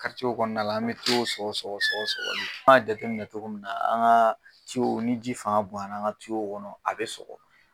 karicew kɔnɔna an me an me cow sɔgɔ sɔgɔ sɔgɔli an m'a jateminɛ togo min na an ka cow ni ji fanga bonyana an ka cow kɔnɔ a be sɔgɔ